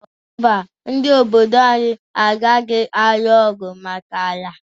Mba, ndị obodo anyị agaghị alụ ọgwụ maka ala?